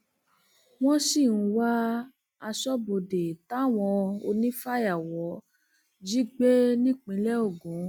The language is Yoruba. wọn um sì ń wá aṣọbodè um táwọn onífàyàwọ jí gbé nípìnlẹ ogun